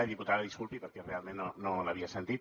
i diputada disculpi perquè realment no l’havia sentit